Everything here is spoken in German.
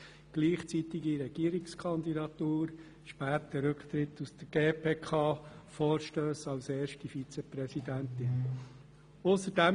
Stichworte dazu sind die gleichzeitige Regierungskandidatur, der späte Rücktritt aus der GPK oder von ihr als erste Vizepräsidentin eingereichte Vorstösse.